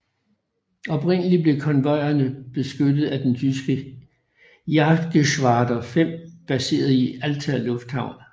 Oprindeligt blev konvojerne beskyttet af den tyske Jagdgeschwader 5 baseret i Alta Lufthavn